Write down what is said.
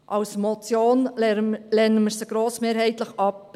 Als Motion lehnen wir ihn grossmehrheitlich ab.